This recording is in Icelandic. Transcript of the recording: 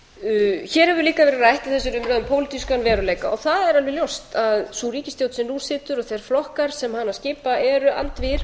líka verið rætt í þessari umræðu um pólitískan veruleika og það er alveg ljóst að sú ríkisstjórn sem nú situr og þeir flokkar sem hana skipa eru andvígir